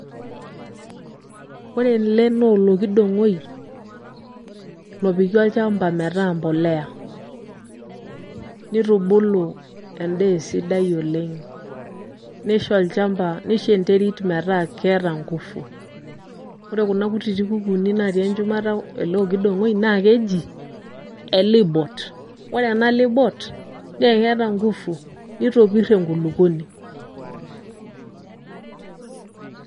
Ore ele nolokidong'oi, lopiki olchamba metaa mpolea. Nitubulu endaa esidai oleng. Nisho olchamba, nisho enterit metaa keeta ngufu. Ore kuna kutiti kukuuni natii enchumata ele okidong'oi, naa keji, elibot. Ore ena libot, mekeeta ngufu. Nitopir enkulukuoni.